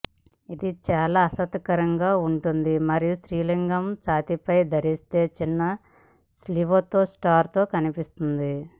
ఇది చాలా ఆసక్తికరంగా ఉంటుంది మరియు స్త్రీలింగ ఛాతీపై ధరించే చిన్న స్లీవ్తో షర్టుతో కనిపిస్తోంది